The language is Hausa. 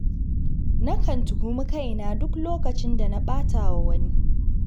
Nakan tuhumi kaina duk lokacin da na ɓata wa wani.